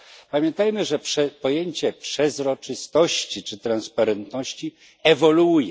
Pamiętajmy, że pojęcie przezroczystości czy transparentności ewoluuje.